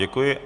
Děkuji.